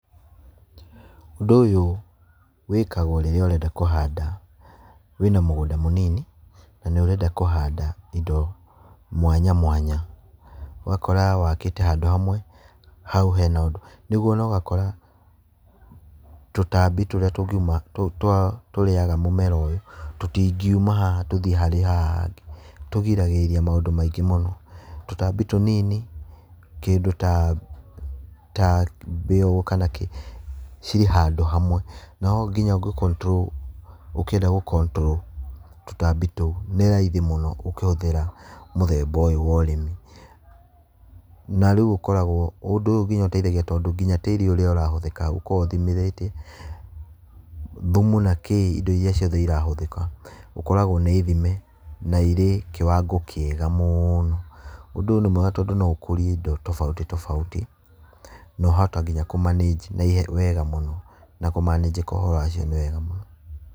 Ũndũ ũyũ wĩkagwo rĩrĩa ũrenda kũhanda wĩna mũgũnda mũnini na nĩ ũrenda kũhanda indo mwanya mwanya. Ũgakora wakĩte handũ hamwe, hau hena ũndũ, nĩguo na ũgakora tũtambi tũrĩa tũngiuma tũ tũrĩaga mũmera ũyũ, tũtingiuma haha tũthiĩ haha hangĩ, tũrigagĩrĩria maũndũ maingĩ mũno. Tũtambi tũnini, kĩndũ ta mbĩa ũguo kana kĩ, cirĩ handũ hamwe, nao ũngĩ control ũkĩenda gũ control tũtambi tũu, nĩ raithi mũno ũkĩhũthĩra mũthemba ũyũ wa ũrĩmi. Na rĩu ũkoragwo, ũndũ ũyũ nginya ũteithagia tondũ nginya tĩĩri ũrĩa ũrahũthĩka ũkoragwo ũthimĩrĩte thumu na kĩĩ, indo iria irahũthĩka, ũkoraga nĩ ithime na irĩ kĩwango kĩega mũno. Ũndũ ũyũ nĩ mwega tondũ no ũkũrie indo tofauti tofauti na wahota nginya kũ manage wega mũno na kũ manage ũhoro wacio nĩ wega mũno.